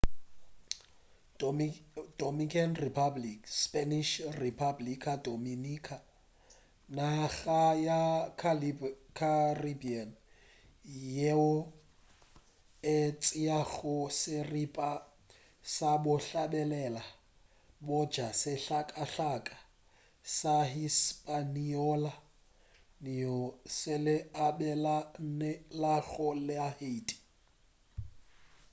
dominican republic spanish: república dominicana naga ya caribbean yeo e tšeago seripa sa bohlabela bja sehlakahlaka sa hispaniola seo e se abelanelago le haiti